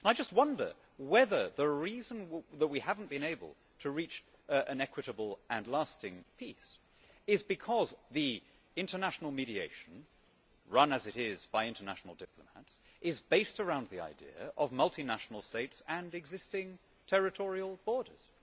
I just wonder whether the reason that we have not been able to reach an equitable and lasting peace is because the international mediation, run as it is by international diplomats, is based around the idea of multinational states and existing territorial borders.